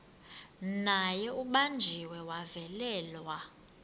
naye ubanjiwe wavalelwa